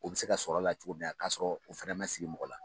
U bɛ se ka sɔrɔ a la cogo min na k'a sɔrɔ u fana man sigi mɔgɔ la.